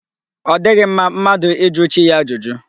Ọ dịghị mma mmadụ ịjụ chi ya ajụjụ.